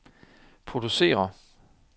producerer